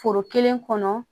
Foro kelen kɔnɔ